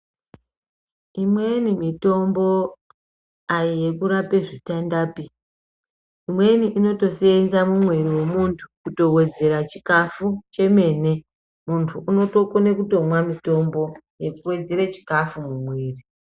Imweni mitombo ayiyekurapa zvitendapi. Imweni inotoseenza mumwiri mwemuntu kutowedzera chikafu chemene. Muntu unokone kutomwe mutombo wekuwedzera chikafu mumwiri